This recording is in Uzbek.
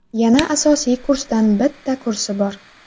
Yana asosiy kursdan bitta kursi bor.